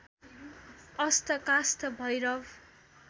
अष्ट काष्ठ भैरव